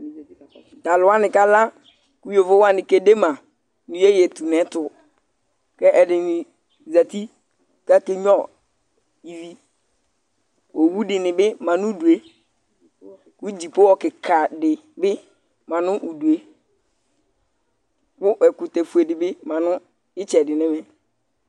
T'alʋwani kaka kʋ yovowani kedema iyeye tun'ɛtʋ k'ɛdini zati k'ake gnua ivi Owu dini bi ma n'udu yɛ kʋ dziƒohɔ kika di bi ma nʋ uudu yɛ, kʋ ɛkʋtɛ fue di bi ma nʋ itsɛdi n'ɛmɛ